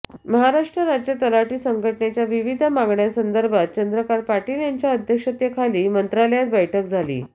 महाराष्ट्र राज्य तलाठी संघटनेच्या विविध मागण्यांसदर्भात चंद्रकांत पाटील यांच्या अध्यक्षतेखाली मंत्रालयात बैठक झाली